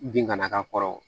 Bin kana k'a kɔrɔ